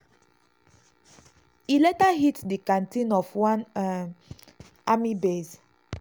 e later hit di canteen of one um army base.